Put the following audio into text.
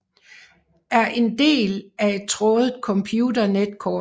Er en del af et trådet computer netkort